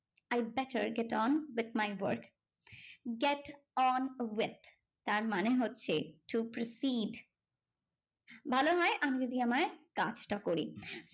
I better get on with my work. Get on with তার মানে হচ্ছে to proceed ভালো হয় আমি যদি আমার কাজটা করি